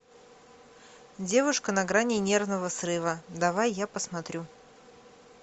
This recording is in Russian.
девушка на грани нервного срыва давай я посмотрю